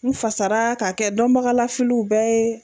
N fasara k'a kɛ dɔnbagalafiliw bɛɛ ye.